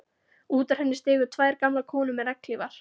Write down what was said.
Út úr henni stigu tvær gamlar konur með regnhlífar.